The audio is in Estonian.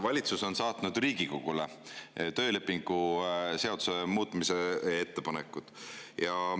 Valitsus on saatnud Riigikogule töölepingu seaduse muutmise ettepanekud.